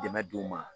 Dɛmɛ d'u ma